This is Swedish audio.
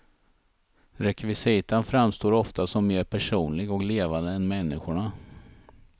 Rekvisitan framstår ofta som mer personlig och levande än människorna.